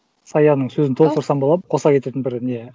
саяның сөзін толықтырсам болады ма қоса кететін бір не